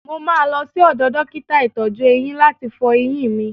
Mo máa lọ sí ọdọ̀ dókítà ìtọ́jú-eyín láti fọ eyín mi.